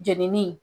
Jenini